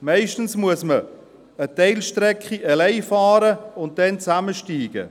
Meist muss man eine Teilstrecke alleine fahren und dann gemeinsam in ein Auto umsteigen.